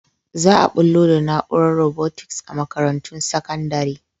Za a bullo da na’urar robotics a makarantun sakandare.